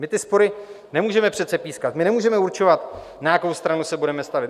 My ty spory nemůžeme přece pískat, my nemůžeme určovat, na jakou stranu se budeme stavět.